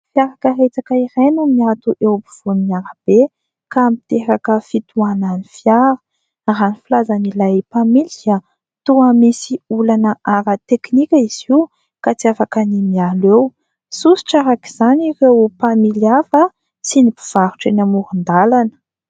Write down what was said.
Fiara karetsaka iray no mihato eo am-povoan'ny arabe, ka miteraka fitohanan' ny fiara; raha ny filazan' ilay mpamily dia toa misy olana ara tekinika izy io, ka tsy afaka ny miala eo, sosotra araka izany ireo mpamily hafa sy ny mpivarotra eny amoron-dalana.